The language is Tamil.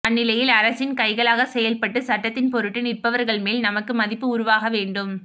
அந்நிலையில் அரசின் கைகளாகச் செயல்பட்டுச் சட்டத்தின்பொருட்டு நிற்பவர்கள்மேல் நமக்கு மதிப்பு உருவாகவேண்டும்